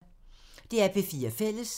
DR P4 Fælles